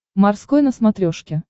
морской на смотрешке